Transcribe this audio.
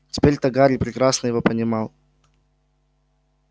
теперь-то гарри прекрасно его понимал